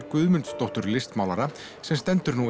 Guðmundsdóttur listmálara sem stendur nú